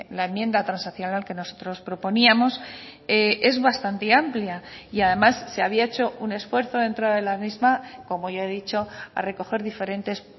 la enmienda transaccional que nosotros proponíamos es bastante amplia y además se había hecho un esfuerzo dentro de la misma como ya he dicho a recoger diferentes